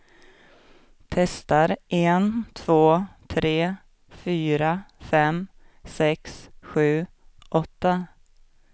Testar en två tre fyra fem sex sju åtta.